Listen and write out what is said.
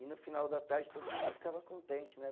E no final da tarde todo mundo ficava contente, né?